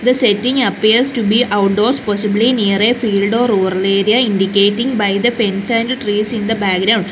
the setting appears to be outdoors possibly near a field or rural area indicating by the fence and the trees in the background.